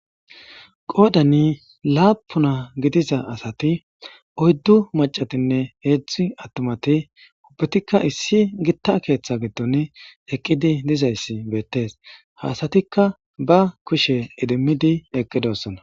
Qoodani laapuna gidiza asati oyddu macatinne heedzdzi attomati ubbetikka issi gitta keeththe giddon eqqidi dizayssi beettees haasatikka ba kushe idimmidi eqqidossona.